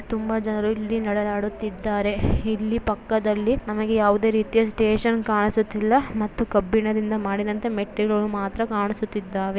ತುಂಬಾ ಜನರು ಇಲ್ಲಿ ನಡೆದಾಡುತಿದ್ದಾರೆ ಇಲ್ಲಿ ಪಕ್ಕದಲ್ಲಿ ನಮಗೆ ಯಾವುದೆ ರೀತಿಯ ಸ್ಟೇಷನ್ ಕಾಣಿಸುತ್ತಿಲ್ಲಾ ಮತ್ತು ಕಬ್ಬಿಣದಿಂದ ಮಾಡಿದಂತೆ ಮೆಟ್ಟಿಲುಗಳು ಮಾತ್ರ ಕಾಣಿಸುತಿದ್ದಾವೆ.